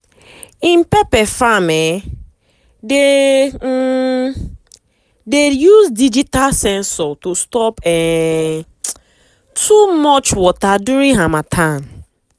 him pepper farm um dey um dey use digital sensor to stop um too much water during harmattan.